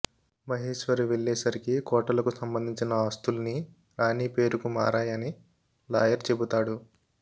మహేశ్వరి వెళ్లే సరికి కోటలకు సంబంధించిన ఆస్తుల్నీ రాణీ పేరుకు మారాయని లాయర్ చెబుతాడు